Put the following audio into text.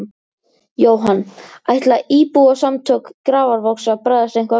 Jóhann: Ætla Íbúasamtök Grafarvogs að bregðast eitthvað við?